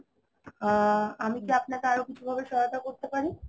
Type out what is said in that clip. আ~ আমি কি আপনাকে আরো কিছু ভাবে সহায়তা করতে পারি ?